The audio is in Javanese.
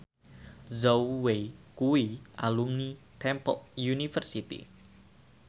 Zhao Wei kuwi alumni Temple University